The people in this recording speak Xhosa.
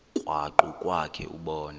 krwaqu kwakhe ubone